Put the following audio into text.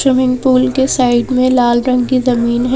Swimming pool के side में लाल रंग की जमीन है।